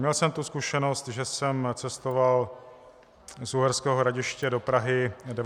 Měl jsem tu zkušenost, že jsem cestoval z Uherského Hradiště do Prahy 19 hodin.